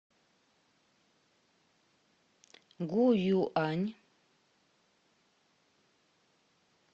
гуюань